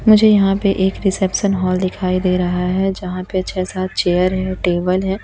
मुझे यहां पे एक रिसेप्शन हॉल दिखाई दे रहा है जहां पे छे सात चेयर है टेबल है।